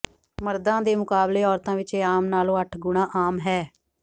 ਮਰਦਾਂ ਦੇ ਮੁਕਾਬਲੇ ਔਰਤਾਂ ਵਿਚ ਇਹ ਆਮ ਨਾਲੋਂ ਅੱਠ ਗੁਣਾ ਆਮ ਹੈ